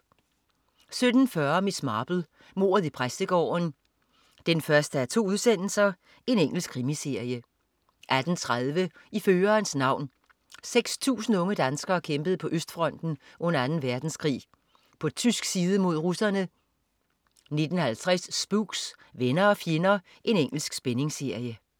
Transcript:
17.40 Miss Marple: Mordet i præstegården 1:2. Engelsk krimiserie 18.30 I førerens navn. 6.000 unge danskere kæmpede på østfronten under Anden Verdenskrig. På tysk side mod russerne 19.50 Spooks: Venner og fjender. Engelsk spændingsserie